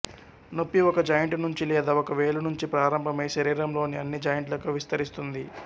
నొప్పి ఒక జాయింటు నుంచి లేదా ఒక వేలు నుంచి ప్రారంభమై శరీరంలోని అన్ని జాయింట్లకు విస్తరిస్తుంది